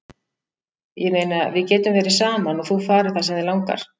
Ég meina, við getum verið saman og þú farið það sem þig langar.